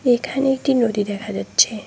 এখানে একটি নদী দেখা যাচ্ছে।